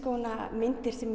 myndir sem